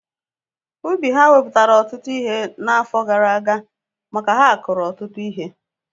Ubi ha mepụtara ụtụtụ ihe n'afọ gara aga maka ha kuru ọtụtụ ihe